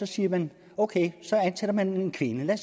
siger man at ok så ansætter man en kvinde lad